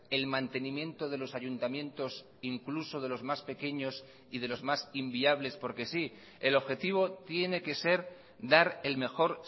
el mantenimiento de los ayuntamientos incluso de los más pequeños y de los más inviables porque sí el objetivo tiene que ser dar el mejor